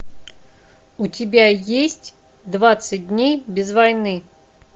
у тебя есть двадцать дней без войны